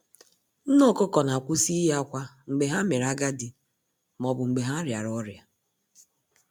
Nne ọkụkọ na kwụsị iyi akwa mgbe ha mere agadi maọbụ mgbe ha rịara ọrịa